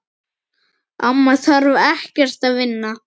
Amma þarf ekkert að vinna.